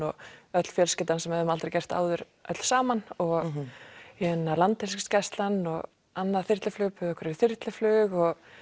öll fjölskyldan sem við hefðum aldrei gert áður öll saman landhelgisgæslan og annað þyrluflug buðu okkur í þyrluflug og